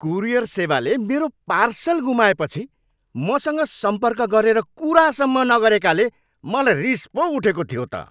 Courier सेवाले मेरो parcel गुमाएपछि मसँग सम्पर्क गरेर कुरासम्म नगरेकाले मलाई रिस पो उठेको थियो त।